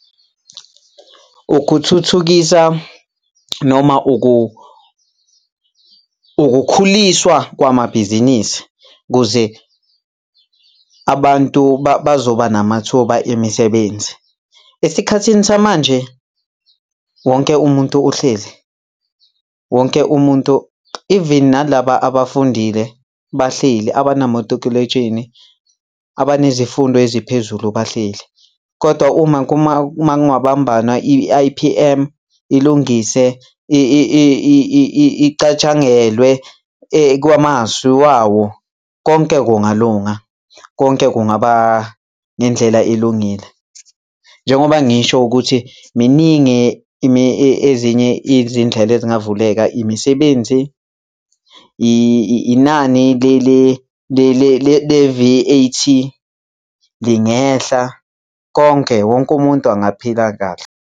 Ukuthuthukisa noma ukukhuliswa kwamabhizinisi kuze abantu bazoba namathuba emisebenzi. Esikhathini samanje, wonke umuntu uhleli, wonke umuntu, even nalaba abafundile bahleli abanamatikuletsheni, abanezifundo eziphezulu bahleli. Kodwa uma kungabambana i-I_P_M ilungise icatshangelwe kwamasu wawo, konke kungalunga, konke kungaba ngendlela elungile. Njengoba ngisho ukuthi miningi ezinye izindlela ezingavuleka imisebenzi, inani le-V_A_T lingehla konke, wonke umuntu angaphila kahle.